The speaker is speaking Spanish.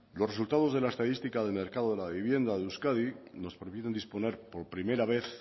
los resultados de la estadística de mercado de la vivienda de euskadi nos previenen disponer por primera vez